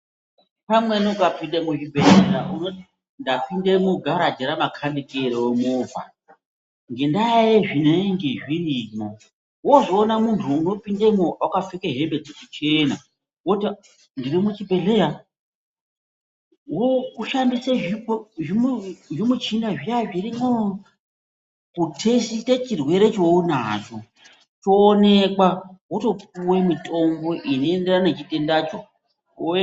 Pamweni ukapinde muzvibhedhlera unoti ndapinde mugaraji ramakanikero nevha nendaya yezvinenge zvirimo ozoona muntu unopindemo akapfeka hembe dzechichena woti ndirimuchibhedhlera, oshandise zvimichina zviya zvirimo kutesite chirwere chaunacho choonekwe otopiwe mitombo inoenderane nechitenda ichonacho.